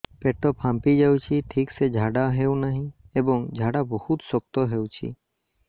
ପେଟ ଫାମ୍ପି ଯାଉଛି ଠିକ ସେ ଝାଡା ହେଉନାହିଁ ଏବଂ ଝାଡା ବହୁତ ଶକ୍ତ ହେଉଛି